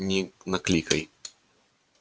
не накликай